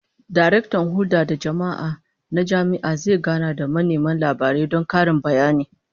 Daraktan Hulda da Jama'a na jami'a zai gana da manema labarai don karin bayani